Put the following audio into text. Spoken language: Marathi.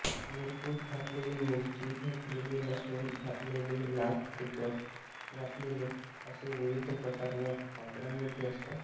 मिरपूड घातलेले मिरची घातलेले लसूण घातलेले लाल तिखट घातलेले असे विविध प्रकार या पापडांमध्ये असतात